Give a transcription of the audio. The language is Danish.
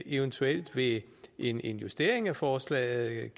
eventuelt ved en en justering af forslaget